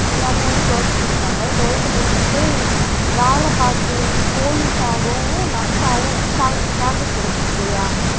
எங்க அம்மா வந்து twelfth முடிச்சாங்க twelfth முடிச்சிட்டு வேலை பாக்குறன்னு police ஆகவும் nurse ஆவும் ச~ chances கிடைச்சது சரியா